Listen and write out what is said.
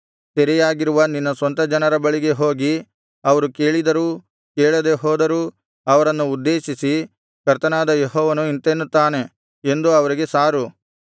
ಸೆರೆಯಾಗಿರುವ ನಿನ್ನ ಸ್ವಂತ ಜನರ ಬಳಿಗೆ ಹೋಗಿ ಅವರು ಕೇಳಿದರೂ ಕೇಳದೆ ಹೋದರೂ ಅವರನ್ನು ಉದ್ದೇಶಿಸಿ ಕರ್ತನಾದ ಯೆಹೋವನು ಇಂತೆನ್ನುತ್ತಾನೆ ಎಂದು ಅವರಿಗೆ ಸಾರು